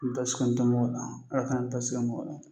Basi tɛ mɔgɔ la ala k'an basi mokɔli